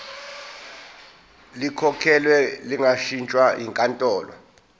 likhokhelwe lingashintshwa yinkantolo